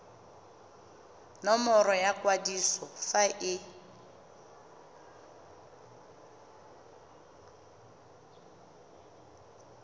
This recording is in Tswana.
nomoro ya kwadiso fa e